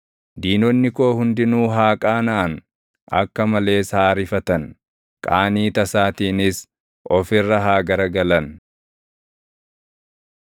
Diinonni koo hundinuu haa qaanaʼan; akka malees haa rifatan; qaanii tasaatiinis of irra haa garagalan.